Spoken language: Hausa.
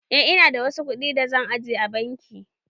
Eh, ina da wasu kuɗi da zan aje a banki